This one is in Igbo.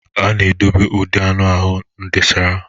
A na-edobe ude anụ ahụ n'drésá.